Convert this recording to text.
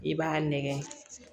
I b'a nɛgɛn